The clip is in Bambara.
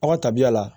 Aw ka tabiya la